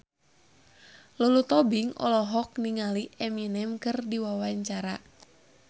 Lulu Tobing olohok ningali Eminem keur diwawancara